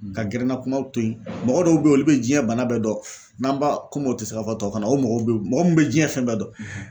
Ka gɛrɛnna kumaw to ye mɔgɔ dɔw be ye olu bɛ diɲɛ bana bɛɛ dɔn n'an b'a komi o te se aw ka tuwawukan na o mɔgɔw be mɔgɔ min be diɲɛ fɛn bɛɛ dɔn